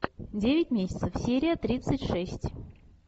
девять месяцев серия тридцать шесть